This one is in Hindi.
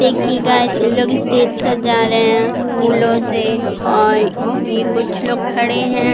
देखिये गाइज़ ये लोग स्टेज सजा रहे है फूलों से और ये कुछ लोग खड़े है।